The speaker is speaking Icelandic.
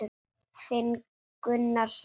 Þinn Gunnar Hrafn.